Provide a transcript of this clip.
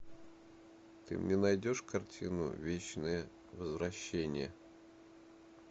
ты мне найдешь картину вечное возвращение